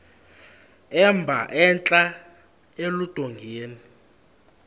emba entla eludongeni